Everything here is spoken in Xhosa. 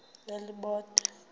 elibode